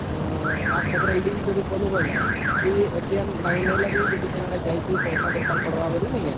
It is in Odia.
ହମ୍ମ ଆଉ ସେଥିରେ link ଯଦି କଲୁ ବୋଇଲେ ତୁଇ ନାଇଁ ନେଲେ ବି ଯଦି କେନେ ଯାଇଛୁ ପଇସା ଦରକାର ପଡିବ ବୋଲି ନାଇକା